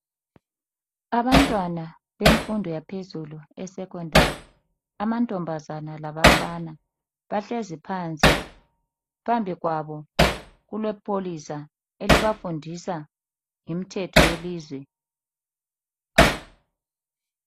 Abantwana bemfundo yaphezulu esekhondari, amantombazana labafana, bahlezi phansi. Phambi kwabo kulepholisa elibafundisa ngemthetho yelizwe.